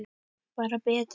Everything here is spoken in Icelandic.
Bara betra.